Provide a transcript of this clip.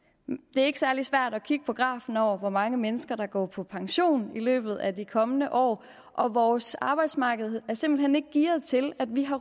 det er ikke særlig svært at kigge på grafen over hvor mange mennesker der går på pension i løbet af de kommende år og vores arbejdsmarked er simpelt ikke gearet til at vi har